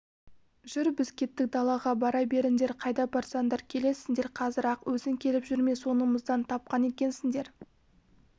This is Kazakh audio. жүр біз кеттік далаға бара беріңдер қайда барасыңдар келесіндер қазір-ақ өзің келіп жүрме соңымыздан тапқан екенсіңдер